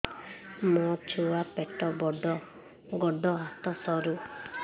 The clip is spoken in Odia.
ମୋ ଛୁଆ ପେଟ ବଡ଼ ଗୋଡ଼ ହାତ ସରୁ